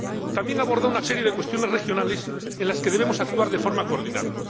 También aborda una serie de cuestiones regionales en las que debemos actuar de forma coordinada